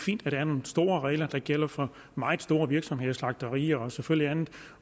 fint at der er nogle store regler der gælder for meget store virksomheder slagterier og selvfølgelig andet